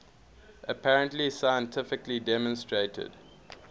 apparently scientifically demonstrated